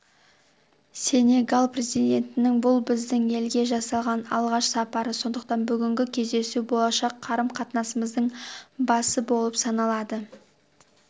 сенегал президентінің бұл біздің елге жасаған алғаш сапары сондықтан бүгінгі кездесу болашақ қарым-қатынасымыздың басы болып саналады